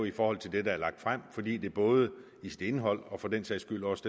i forhold til det der er lagt frem fordi det både i sit indhold og for den sags skyld også